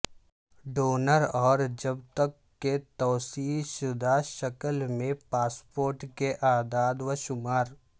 donor اور جب تک کے توسیع شدہ شکل میں پاسپورٹ کے اعداد و شمار